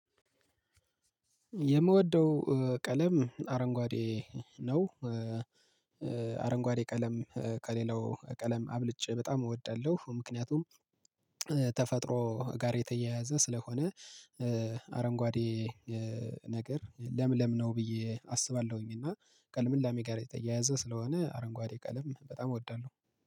የምወደው ቀለም አረንጓዴ ነው። አረንጓዴ ቀለም ከሌላው ቀለም አብልጬ በጣም እወዳለሁ። ምክንያቱም ተፈጥሮ ጋር የተያያዘ ስለሆነ አረንጓዴ ነገር ለምለምነው ብዬ አስባለሁኝ እና ከልምላሜ ጋር የተያያዘ ስለሆነ አረንጓዴ ቀለም በጣም እወዳለሁ።